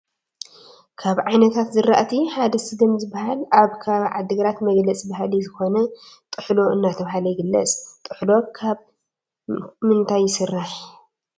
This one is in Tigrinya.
ካብ ዓይነታት ዝራእቲ ሐደ ስገም ዝበሃል አብ ከባቢ ዓዲ ግራት መግለፂ ባህሊ ዝከነ ጥሕሎ እናተባሃለ ይግለፅ ። ጥሕሎ ከብ ምንታይ ይሰራሕ?